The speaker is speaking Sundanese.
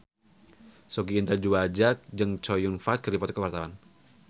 Sogi Indra Duaja jeung Chow Yun Fat keur dipoto ku wartawan